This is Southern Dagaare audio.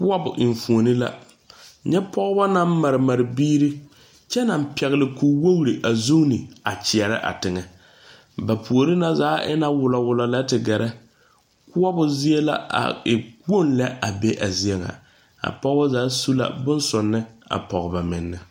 Koɔbo enfuone la nyɛ pɔgeba naŋ mare mare biire kyɛ naŋ pɛgle ku wogre a zuune a kyɛɛrɛ a teŋɛ ba puore na zaa e la wolɔwolɔ lɛ te gɛrɛ koɔbɔ zie la a e kpoŋ lɛ a be a zie ŋa a pɔgebɔ zaa su la bon sonne a pɔg ba menne.